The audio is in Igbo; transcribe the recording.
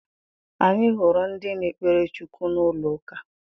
Anyị hụrụ ndị na-ekpere Chukwu n'ụlọ uka